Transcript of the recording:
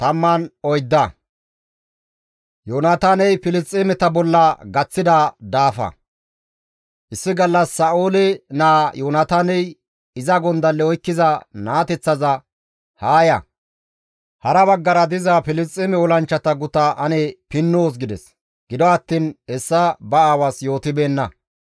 Issi gallas Sa7oole naa Yoonataaney iza gondalle oykkiza naateththaza, «Haa ya; hara baggara diza Filisxeeme olanchchata guta ane pinnoos» gides; gido attiin hessa ba aawaas yootibeenna.